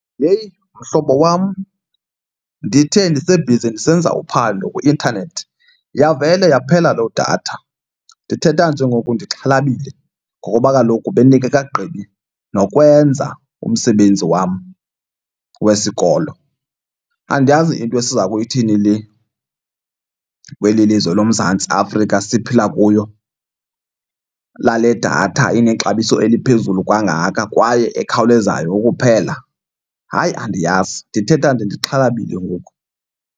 Yheyi, mhlobo wam! Ndithe ndisebhizi ndisenza uphando kwi-intanethi yavele yaphela loo datha. Ndithetha nje ngoku ndixhalabile ngokuba kaloku bendingekagqibi nokwenza umsebenzi wam wesikolo. Andiyazi yinto esiza kuyithini le kweli lizwe loMzantsi Afrika siphila kuyo lale datha inexabiso eliphezulu kangaka kwaye ekhawulezayo ukuphela. Hayi, andiyazi! Ndithetha nje ndixhalabile ngoku.